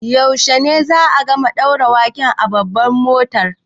Yaushe ne za'a gama ɗaura waken a Babbar Motan?